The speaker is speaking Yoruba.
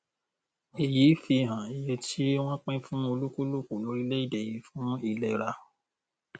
èyí fi hàn iye tí wọn pín fún olúkúlùkù lórílẹèdè yìí fún ìlera